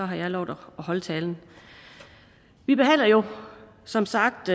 har jeg lovet at holde talen vi behandler jo som sagt